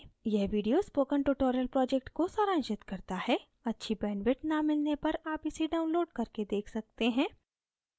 यह video spoken tutorial project को सारांशित करता है अच्छी bandwidth न मिलने पर आप इसे download करके देख सकते हैं